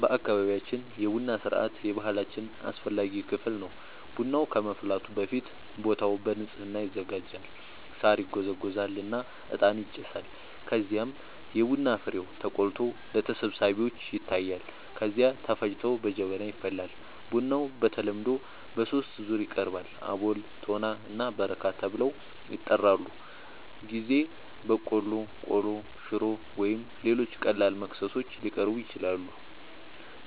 በአካባቢያችን የቡና ሥርዓት የባህላችን አስፈላጊ ክፍል ነው። ቡናው ከመፍላቱ በፊት ቦታው በንጽህና ይዘጋጃል፣ ሳር ይጎዘጎዛል እና እጣን ይጨሳል። ከዚያም የቡና ፍሬው ተቆልቶ ለተሰብሳቢዎች ይታያል፣ ከዚያ ተፈጭቶ በጀበና ይፈላል። ቡናው በተለምዶ በሦስት ዙር ይቀርባል፤ አቦል፣ ቶና እና በረካ ተብለው ይጠራሉበ ጊዜ በቆሎ፣ ቆሎ፣ ሽሮ ወይም ሌሎች ቀላል መክሰሶች ሊቀርቡ ይችላሉ።